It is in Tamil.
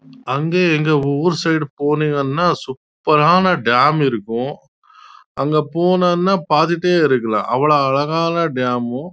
அங்க இங்க ஓர் சைடு போனீங்க ந சூப்பர் ஆனா டம் இருக்கும் அங்க போனும் ந பாத்துட்டே இருக்கலாம்